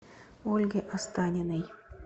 ольге останиной